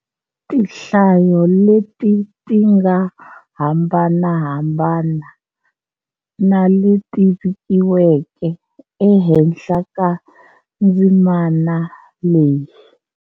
Tinhlayo leti ti nga hambanahambana na le ti vikiweke e henhla ka ndzimana leyi.